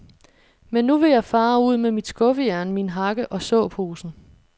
Men nu vil jeg fare ud med mit skuffejern, min hakke og såposen.